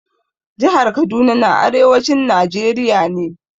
Jihar Kaduna na arewacin Najeriya ne.